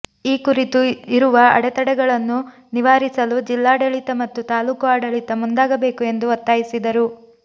ಈ ಕುರಿತು ಇರುವ ಅಡೆತಡೆಗಳನ್ನು ನಿವಾರಿ ಸಲು ಜಿಲ್ಲಾಡಳಿತ ಮತ್ತು ತಾಲೂಕು ಆಡ ಳಿತ ಮುಂದಾಗಬೇಕು ಎಂದು ಒತ್ತಾಯಿಸಿ ದರು